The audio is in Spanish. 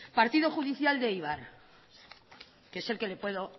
partido judicial de eibar que es el que le puedo